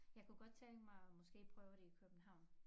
Jeg kunne godt tænke mig at måske prøve det i København